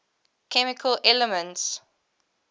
chemical elements